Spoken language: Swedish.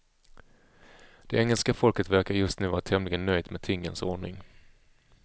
Det engelska folket verkar just nu vara tämligen nöjt med tingens ordning.